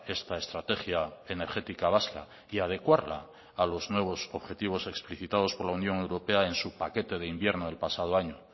esta estrategia energética vasca y adecuarla a los nuevos objetivos explicitados por la unión europea en su paquete de invierno del pasado año